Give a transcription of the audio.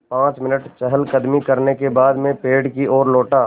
पाँच मिनट चहलकदमी करने के बाद मैं पेड़ की ओर लौटा